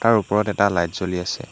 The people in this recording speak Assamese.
ইয়াৰ ওপৰত এটা লাইট জ্বলি আছে।